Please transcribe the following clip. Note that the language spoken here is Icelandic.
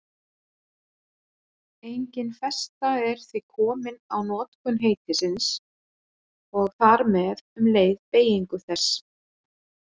Engin festa er því komin á notkun heitisins og þar með um leið beygingu þess.